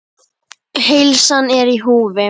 Heilsan er í húfi.